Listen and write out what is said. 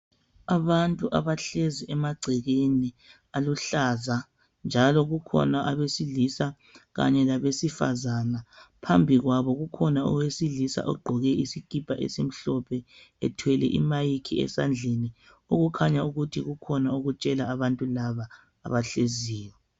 Abantu abahlezi emangcekeni aluhlaza njalo kukhona abesilisa labesifazana phambi kwako kukhona owesilisa ogqoke isikipa esibombu ethwele imic endlini okukhanya ukuthi kukhona akutshela abantu laba abahleziyo